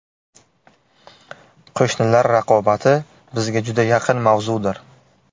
Qo‘shnilar raqobati bizga juda yaqin mavzudir.